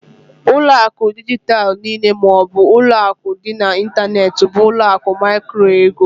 Ụlọ akụ dijitalụ niile ma ọ bụ ụlọ akụ dị n'ịntanetị bụ ụlọ akụ micro-ego.